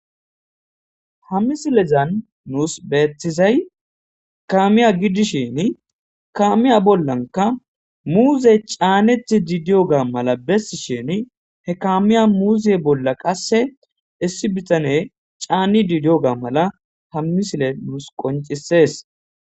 ha misilezan nuus beetizay kaamiya giddishini kaamiya bollanka muuze caanethi diidiyo ga mala bessi shini he kaamiya muuze bolla qasse issi bitane caanni didiyo ga mala hammisile nuus qoncisees